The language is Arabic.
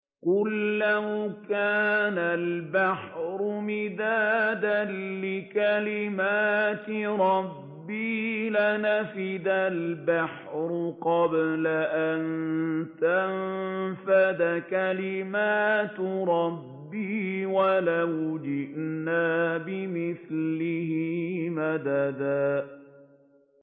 قُل لَّوْ كَانَ الْبَحْرُ مِدَادًا لِّكَلِمَاتِ رَبِّي لَنَفِدَ الْبَحْرُ قَبْلَ أَن تَنفَدَ كَلِمَاتُ رَبِّي وَلَوْ جِئْنَا بِمِثْلِهِ مَدَدًا